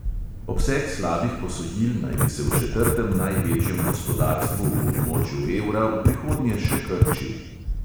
Obseg slabih posojil naj bi se v četrtem največjem gospodarstvu v območju evra v prihodnje še krčil.